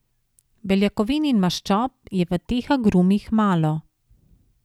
Beljakovin in maščob je v teh agrumih malo.